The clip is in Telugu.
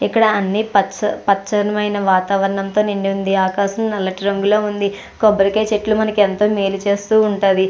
ఇక్కడ అన్ని పచ్చ పచ్చనిమైన వాతావరణంతో నిండి ఉంది ఆకాశం నల్లటి రంగులో ఉంది కొబ్బరికాయ చెట్లు మనకి ఎంతో మేలు చేస్తూ ఉంటది.